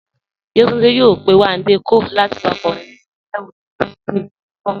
Yétúndé yòò pẹ̀ Wándé Cóàl láti wà kọ́rìn níbí ìgbéyàwó rè lóṣù tó n bọ̀.